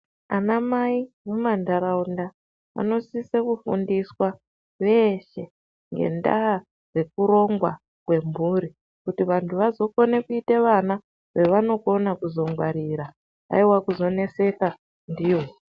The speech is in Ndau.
Anamai mumantaraunda anosise kufundiswa veshe ngendaa dzekurongwa kwemburi. Kuti vantu vazokone kuita vana vavanokone kuzongwarira, haiwa kuzoneseka ndivo.